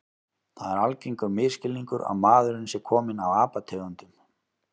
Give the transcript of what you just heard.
Það er algengur misskilningur að maðurinn sé kominn af apategundum.